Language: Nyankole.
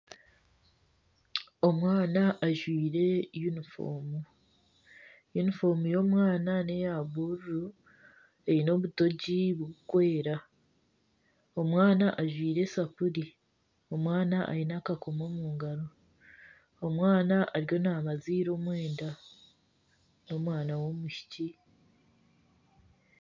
Omwana ajwaire yunifoomu, yunifoomu y'omwana neya buruuru eine obutogi buri kwera omwana ajwaire esapuri, omwana aine akakomo omu ngaro, omwana ariyo nabaziira omwenda n'omwana w'omwishiki.